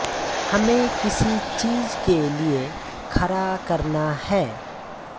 हमें किसी चीज़ के लिए खड़ा करना है